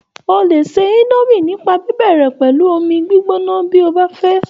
O lè se indomie nípa bíbẹ̀rẹ̀ pẹ̀lú omi gbígbóná bí o bá fẹ́